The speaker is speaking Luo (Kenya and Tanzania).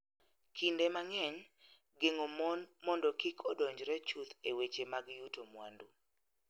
Kinde mang�eny, geng�o mon mondo kik odonjre chuth e weche mag yuto mwandu.